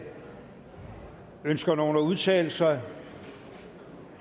ønsker nogen at udtale sig